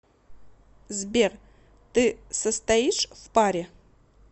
сбер ты состоишь в паре